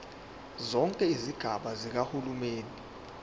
zonke izigaba zikahulumeni